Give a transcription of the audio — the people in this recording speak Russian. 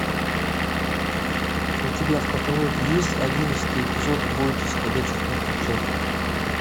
у тебя в каталоге есть одиннадцатый эпизод бойтесь ходячих мертвецов